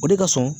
O de ka surun